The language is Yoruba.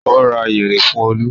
Ó ra yẹ̀rì fún Olú?